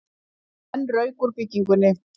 Enn rauk úr bryggjunni